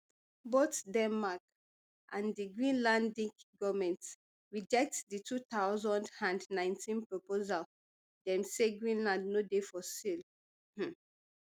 both denmark and di greenlandic goment reject di two thousand and nineteen proposal dem say greenland no dey for sale um